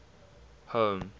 home